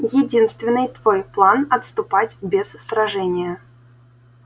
единственный твой план отступать без сражения